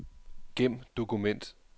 Gem dokument.